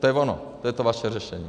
To je ono, to je to vaše řešení.